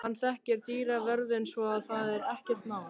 Hann þekkir dyravörðinn svo að það er ekkert mál.